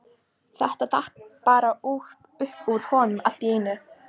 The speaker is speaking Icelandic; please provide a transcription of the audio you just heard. Þetta datt bara upp úr honum allt í einu.